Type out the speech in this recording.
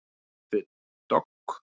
Reis upp við dogg.